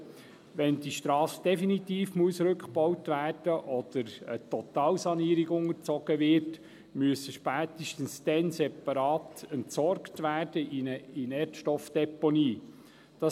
Spätestens dann, wenn die Strasse definitiv rückgebaut werden muss oder einer Totalsanierung unterzogen wird, muss das Material separat in einer Inertstoffdeponie entsorgt werden.